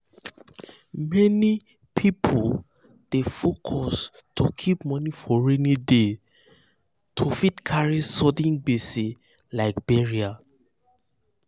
many um people dey focus to keep moni um for rainy day to fit carry sudden gbese like burial